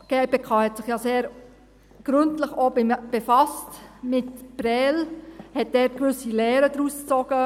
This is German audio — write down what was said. Die GPK hat sich ja auch sehr gründlich mit Prêles befasst und hat daraus gewisse Lehren gezogen.